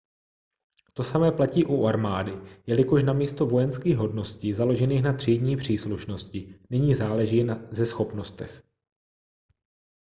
to samé platí u armády jelikož namísto vojenských hodností založených na třídní příslušnosti nyní záleží ze schopnostech